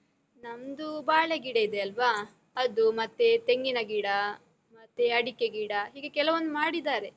ನಮ್ದು ಬಾಳೆಗಿಡ ಇದೆಯಲ್ವ? ಅದು, ಮತ್ತೆ ತೆಂಗಿನ ಗಿಡ, ಮತ್ತೆ ಅಡಿಕೆ ಗಿಡ, ಹೀಗೆ ಕೆಲವೊಂದ್ ಮಾಡಿದ್ದಾರೆ.